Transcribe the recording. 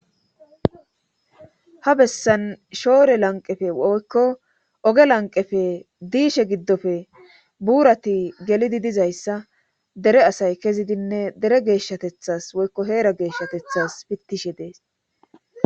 Ha bessan shoore lanqefe oykko oge lanqefe diishe giddofe buurati gelidi dizayssa dere asay kezidinne dere geeshshatethas woykko heera geeshshatethas pittishe dees